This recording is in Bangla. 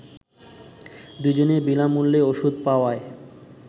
দুজনই বিনামূল্যে ওষুধ পাওয়ায়